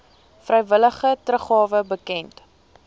vrywillige teruggawe bekend